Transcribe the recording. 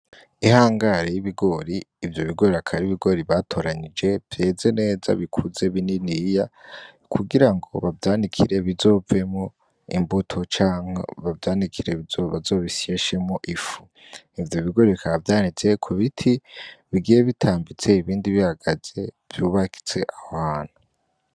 Ihangari y'ibigori ivyo bigori akaba ari ibigori batoranyije biteze neza bikuze bininiya kugirango bavyanikire bizovemwo imbuto canke bavyanikire bazobisyeshemwo ifu ivyo bigori bikaba vyanitse kubiti bigiye bitambitse ibindi bihagaze vyubatse aho hantu.